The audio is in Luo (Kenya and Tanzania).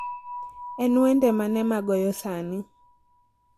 En wende mane ma goyo sani